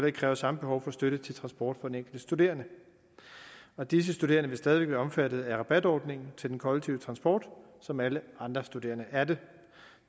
ikke kræver samme behov for støtte til transport for den enkelte studerende disse studerende vil stadig væk være omfattet af rabatordningen til den kollektive transport som alle andre studerende er det